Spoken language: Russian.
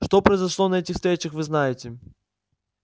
что произошло на этих встречах вы знаете